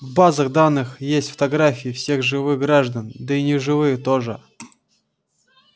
в базах данных есть фотографии всех живых граждан да и неживых тоже